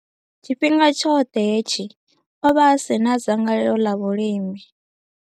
Tshifhinga tshoṱhe hetshi, o vha a si na dzangalelo ḽa vhulimi.